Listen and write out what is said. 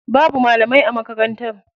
Babu malamai a makarantar.